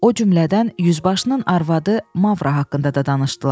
O cümlədən yüzbaşının arvadı Mavra haqqında da danışdılar.